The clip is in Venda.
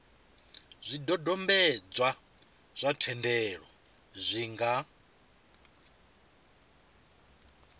zwidodombedzwa zwa thendelo zwi nga